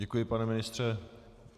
Děkuji, pane ministře.